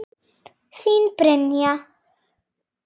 Þín, Brynja.